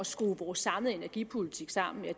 skrue vores samlede energipolitik sammen